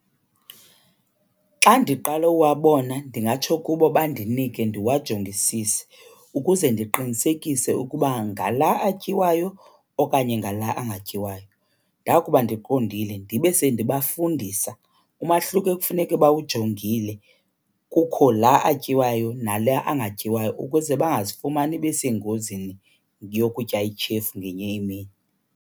Xa ndiqala uwabona ndingatsho kubo bandinike ndiwajongisise ukuze ndiqinisekise ukuba ngala atyiwayo okanye ngala angatyiwayo. Ndakuba ndiqondile ndibe sendibafundisa umahluko ekufuneke bawujongile kukho la atyiwayo nala angatyiwayo ukuze bangazifumani besengozini yokutya ityhefu ngenye imini.